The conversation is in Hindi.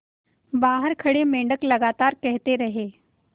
बाहर खड़े मेंढक लगातार कहते रहे